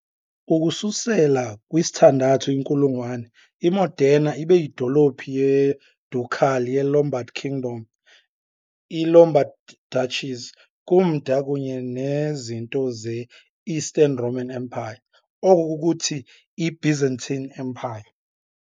Ukususela kwi-6th inkulungwane, i-Modena ibe yidolophu ye-ducal ye- Lombard Kingdom i-Lombard Duchies, kumda kunye nezinto ze-Eastern Roman Empire, oko kukuthi i-Byzantine Empire .